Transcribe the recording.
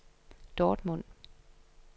Dortmund